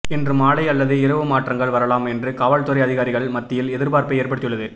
இன்று மாலை அல்லது இரவு மாற்றங்கள் வரலாம் என்று காவல்துறை அதிகாரிகள் மத்தியில் எதிர்பார்ப்பை ஏற்படுத்தியுள்ளது